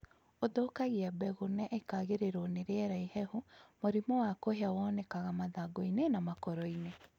Ũthũkagia mbegũ na ĩkagĩrĩrwo ni rĩera ihehu Mũrimũ wa kũhĩa wonegaka mathangũinĩ na makoroinĩ